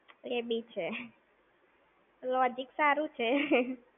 એ બી છે! Logic સારું છે!